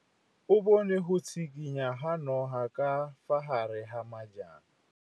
O bone go tshikinya ga noga ka fa gare ga majang.